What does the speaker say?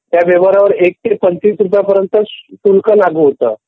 त्या वेव्हारावर एक ते पंचवीस रुपयापर्यंत शुल्क लागू होतं.